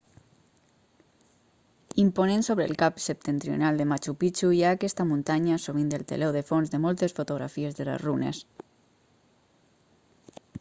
imponent sobre el cap septentrional de machu picchu hi ha aquesta muntanya sovint el teló de fons de moltes fotografies de les runes